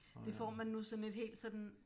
Det får man nu sådan et helt sådan